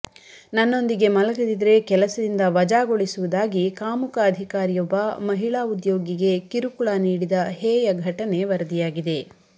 ನನ್ನೊಂದಿಗೆ ಮಲಗದಿದ್ರೆ ಕೆಲಸದಿಂದ ವಜಾಗೊಳಿಸುವುದಾಗಿ ಕಾಮುಕ ಅಧಿಕಾರಿಯೊಬ್ಬ ಮಹಿಳಾ ಉದ್ಯೋಗಿಗೆ ಕಿರುಕುಳ ನೀಡಿದ ಹೇಯ ಘಟನೆ ವರದಿಯಾಗಿದೆ